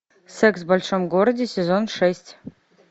секс в большом городе сезон шесть